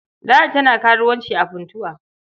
Ladi tana karuwanci a Funtua.